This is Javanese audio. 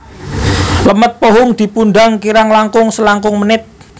Lemet pohung dipundhang kirang langkung selangkung menit